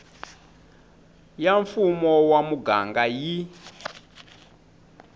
ya mfumo wa muganga yi